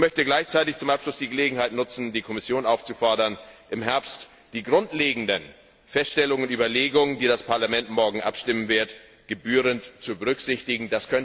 Ich möchte gleichzeitig zum Abschluss die Gelegenheit nutzen, die Kommission aufzufordern, im Herbst die grundlegenden Feststellungen und Überlegungen, die das Parlament morgen verabschieden wird, gebührend zu berücksichtigen.